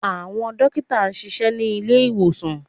Àwọn dókítà ń ṣiṣẹ́ ní ilé ìwòsàn